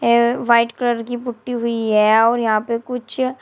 ये white colour की putty हुई है और यहां पे कुछ--